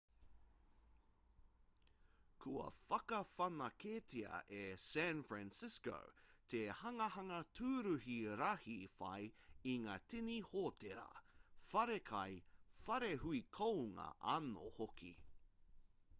kua whakawhanaketia e san francisco te hanganga tūruhi rahi whai i ngā tini hōtēra whare kai whare hui kounga anō hoki